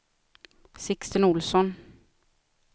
Sixten Olsson